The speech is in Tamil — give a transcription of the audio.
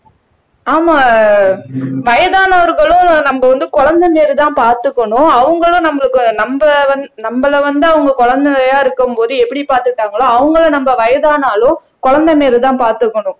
ஆமா வயதானவர்களும் நம்ம வந்து குழந்தை மாரிதான் பாத்துக்கணும் அவங்களும் நம்மளுக்கு நம்ம வந் நம்மளை வந்து அவங்க குழந்தையா இருக்கும்போது எப்படி பாத்துக்கிட்டாங்களோ அவங்களை நம்ம வயதானாலும் குழந்தை மாரிதான் பாத்துக்கணும்